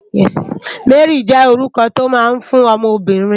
Mary jè órúkò tó má n fún òmò óbìrín